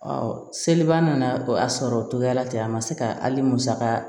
Ɔ seliba nana o y'a sɔrɔ o togoya la ten a ma se ka hali musaka